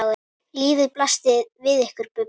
Lífið blasti við ykkur Bubba.